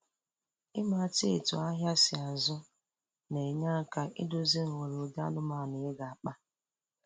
Ịmata etu ahịa si azụ na-enye aka iduzi nghọrọ ụdị anụmanụ ị ga-akpa